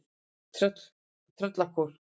Tröllakór